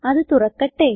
അത് തുറക്കട്ടെ